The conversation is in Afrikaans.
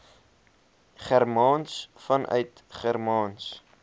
germaans vanuit germaans